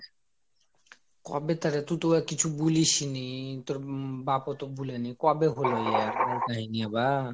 কবে অরে তুই তো আর কিছু বলিসনি তোর বাপ্ ও তো বলেনি কবে হইল বলেনি বা